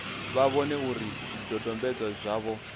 vha vhone uri zwidodombedzwa zwavho